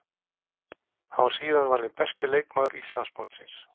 Hann var síðan valinn besti leikmaður Íslandsmótsins.